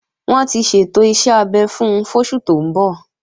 Wọ́n ti ṣètò iṣẹ́ abẹ fún fóṣù tó ń bọ̀